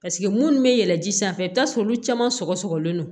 Paseke munnu bɛ yɛlɛn ji sanfɛ i bɛ taa sɔrɔ olu caman sɔgɔ sɔgɔlen do